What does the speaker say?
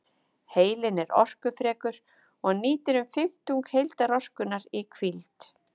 Heilinn er orkufrekur og nýtir um fimmtung heildarorkunnar í hvíld.